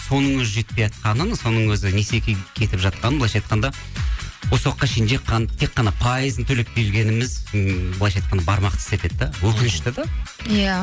соның өзі жетпейатқанын соның өзі несиеге кетіп жатқаны былайынша айтқанда осы уақытқа шейін тек қана пайызын төлеп келгеніміз м былайынша айтқанда бармақты тістетеді де өкінішті де иә